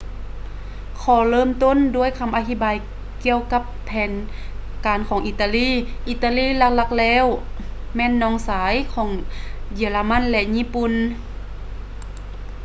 ຂໍເລີ່ມຕົ້ນດ້ວຍຄຳອະທິບາຍກ່ຽວກັບແຜນການຂອງອີຕາລີ ອີຕາລີຫຼັກໆແລ້ວແມ່ນ ນ້ອງຊາຍ ຂອງເຢຍລະມັນ ແລະ ຍີ່ປຸ່ນ